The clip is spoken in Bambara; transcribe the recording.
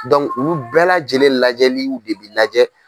olu bɛɛ lajɛlen lajɛli de bi lajɛ.